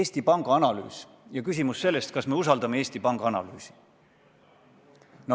Eesti Panga analüüs – küsimus sellest, kas me usaldame Eesti Panga analüüsi.